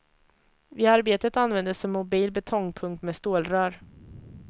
Vid arbetet användes en mobil betongpump med stålrör.